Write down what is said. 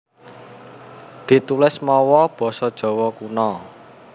Ditulis mawa basa Jawa Kuna